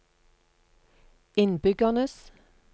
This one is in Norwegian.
innbyggernes